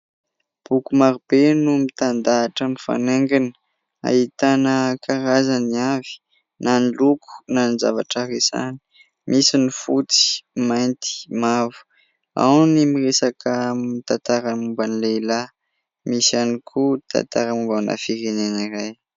Boky marobe no mitandahatra mifanaingina, ahitana karazany avy na ny loko na ny zavatra resahany, misy ny fotsy, mainty, mavo, ao ny miresaka mitantara ny momba ny lehilahy, misy ihany koa tantara mombana firenena iray.